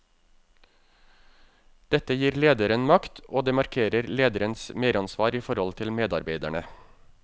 Dette gir lederen makt, og det markerer lederens meransvar i forhold til medarbeiderne.